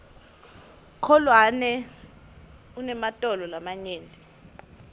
kholwane unematolo lamanyenti